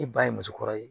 E ba ye muso kɔrɔ ye